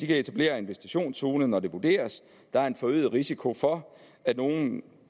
kan etablere en visitationszone når det vurderes at der er en forøget risiko for at nogle